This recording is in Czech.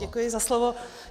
Děkuji za slovo.